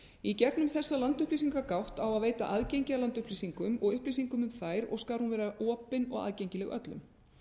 í gegnum þessa landupplýsingagátt á að veita aðgengi að landupplýsingum og upplýsingum um þær og skal hún vera opin og aðgengileg öllum